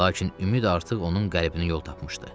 Lakin ümid artıq onun qəlbinə yol tapmışdı.